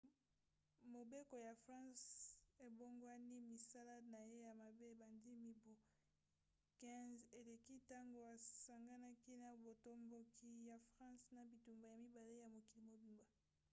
mobeko ya france ebongwani. misala na ye ya mabe ebanda mibu 15 eleki ntango asanganaki na botomboki ya france na bitumba ya mibale ya mokili mobimba